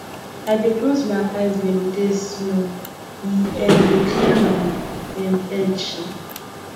i dey close my eyes meditate small e um dey clear my um head um